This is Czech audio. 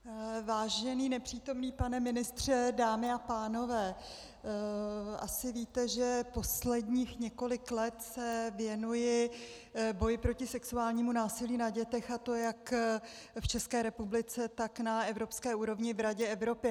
Vážený nepřítomný pane ministře, dámy a pánové, asi víte, že posledních několik let se věnuji boji proti sexuálnímu násilí na dětech, a to jak v České republice, tak na evropské úrovni v Radě Evropy.